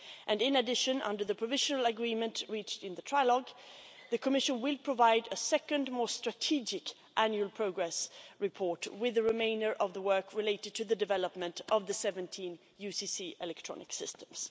And, in addition, under the provisional agreement reached in the trilogue, the Commission will provide a second more strategic annual progress report with the remainder of the work related to the development of the 17 UCC electronic systems.